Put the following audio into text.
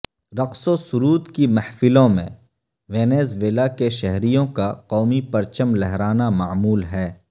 رقص و سرود کی محفلوں میں وینزویلا کے شہریوں کا قومی پرچم لہرانا معمول ہے